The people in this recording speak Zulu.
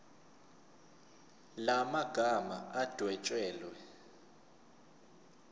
la magama adwetshelwe